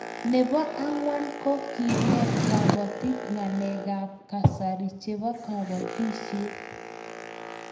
Nebo ang'wan ko kenet kabatik ngalek ab kasari chebo kabatishet